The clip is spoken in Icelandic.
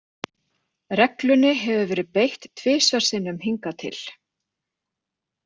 Reglunni hefur verið beitt tvisvar sinnum hingað til.